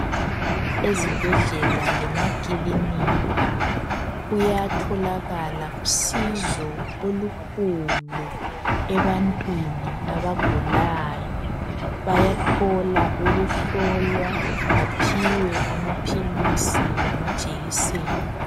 Ezibhedlela lemakilinika kuyatholakala usizo olukhulu ebantwini abagulayo. Bayathola ukuhlolwa baphiwe amaphilisi lamajekiseni.